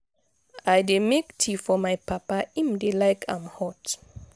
i dey make tea for my papa im dey like am hot.